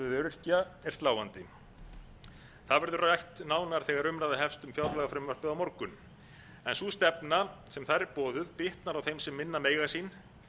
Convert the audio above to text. öryrkja er sláandi það verður rætt nánar þegar umræða hefst um fjárlagafrumvarpið á morgun en sú stefna sem þar er boðuð bitnar á þeim sem minna mega sín